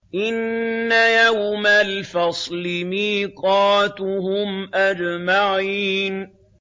إِنَّ يَوْمَ الْفَصْلِ مِيقَاتُهُمْ أَجْمَعِينَ